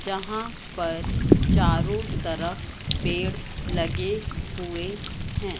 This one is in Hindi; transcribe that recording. जहां पर चारों तरफ पेड़ लगे हुए हैं।